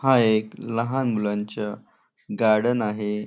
हा एक लहान मुलांचा गार्डन आहे.